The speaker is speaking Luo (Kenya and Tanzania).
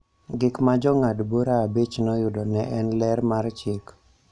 gik ma Jong'ad bura abich noyudo ne en ler mar chik